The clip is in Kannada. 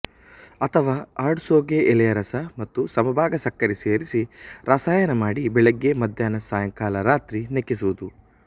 ಅಥವಾ ಆಡುಸೋಗೆ ಎಲೆಯ ರಸ ಮತ್ತು ಸಮಭಾಗ ಸಕ್ಕರೆ ಸೇರಿಸಿ ರಸಾಯನ ಮಾಡಿ ಬೆಳಿಗ್ಗೆ ಮಧ್ಯಾಹ್ನ ಸಾಯಂಕಾಲ ರಾತ್ರಿ ನೆಕ್ಕಿಸುವುದು